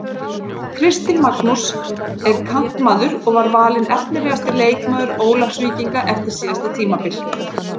Kristinn Magnús er kantmaður og var valinn efnilegasti leikmaður Ólafsvíkinga eftir síðasta tímabil.